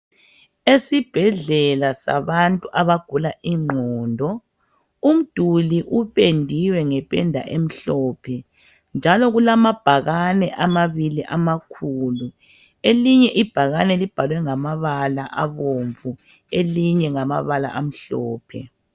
Esibhedlela sabantu abagula ingqondo umduli upendiwe ngependa emhlophe njalo kulamabhakane amabili amakhulu ,elinye ibhakane libhalwe ngamabala abomvu elinye ngamabala amhlophe.